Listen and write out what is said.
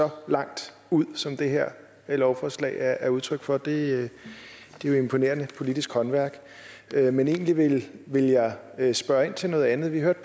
så langt ud som det her lovforslag er udtryk for det er jo imponerende politisk håndværk men egentlig vil jeg spørge ind til noget andet vi hørte